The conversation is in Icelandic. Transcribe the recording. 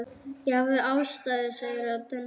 Ég hafði ástæðu, segir röddin.